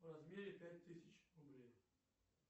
в размере пять тысяч рублей